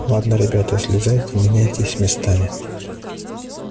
ладно ребята слезайте меняйтесь местами